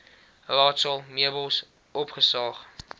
raadsaal meubels opgesaag